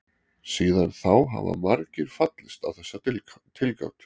Síðan þá hafa margir fallist á þessa tilgátu.